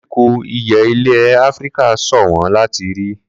Koríko ìyẹ́ ilẹ̀ Áfíríkà ṣọ̀wọ́n láti rí.